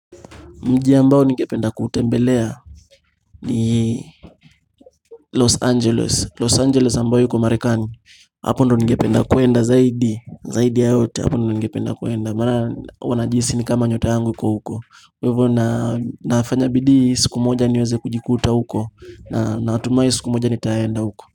Mji ambao ningependa kuutembelea ni Los Angeles, Los Angeles ambayo iko marekani Hapo ndio ningependa kuenda zaidi, zaidi ya yote, hapo ndo ningependa kuenda, maana huwa najihisi ni kama nyota yangu iko huko kWa hivyo na nafanya bidi siku moja niweze kujikuta huko na natumai siku moja nitaenda huko.